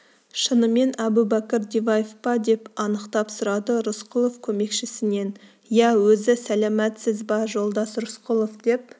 шынымен әбубәкір диваев па деп анықтап сұрады рысқұлов көмекшісінен иә өзі сәләматсыз ба жолдас рысқұлов деп